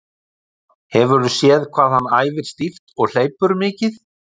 Hefurðu séð hvað hann æfir stíft og hleypur mikið?